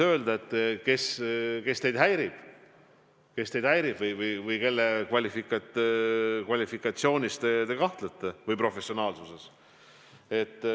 Ma arvan, et tuleb öelda, kes teid häirib või kelle kvalifikatsioonis või professionaalsuses te kahtlete.